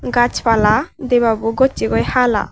gas pala debabo gossay goi hala.